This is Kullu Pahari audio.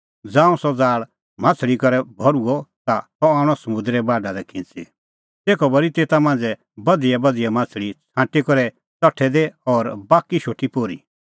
ज़ांऊं सह ज़ाल़ माह्छ़ली करै भर्हुअ ता सह आणअ समुंदरे बाढा लै खिंच़ी तेखअ भरी तेता मांझ़ै बधियाबधिया माह्छ़ली छ़ांटी करै च़ठै दी और बाकी शोटी पोर्ही